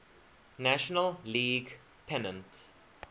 national league pennant